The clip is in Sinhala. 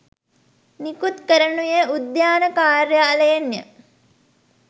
නිකුත් කරනුයේ උද්‍යාන කාර්යාලයෙන්ය